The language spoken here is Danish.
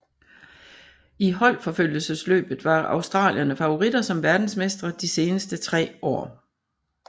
I holdforfølgelsesløbet var australierne favoritter som verdensmestre de seneste tre år